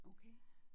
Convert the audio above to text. Okay